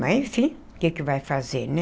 Mas, enfim, o que que vai fazer, né?